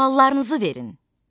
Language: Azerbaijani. Suallarınızı verin.